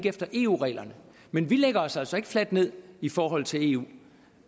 efter eu reglerne men vi lægger os altså ikke fladt ned i forhold til eu